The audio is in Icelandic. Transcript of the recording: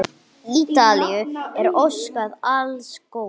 Ítalíu er óskað alls góðs.